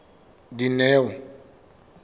dineo